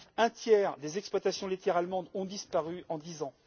Un tiers des exploitations laitières allemandes ont disparu en dix ans.